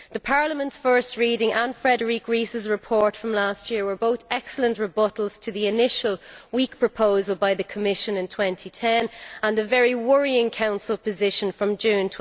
Parliament's first reading and Frédérique Ries's report from last year were both excellent rebuttals to the initial weak proposal by the Commission in 2010 and the very worrying Council position of June